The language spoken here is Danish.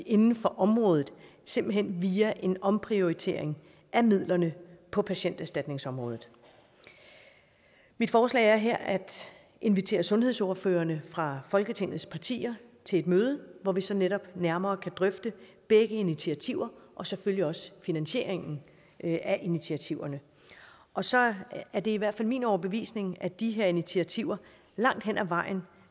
inden for området simpelt hen via en omprioritering af midlerne på patienterstatningsområdet mit forslag er her at invitere sundhedsordførerne fra folketingets partier til et møde hvor vi så netop nærmere kan drøfte begge initiativer og selvfølgelig også finansieringen af initiativerne og så er er det i hvert fald min overbevisning at de her initiativer langt hen ad vejen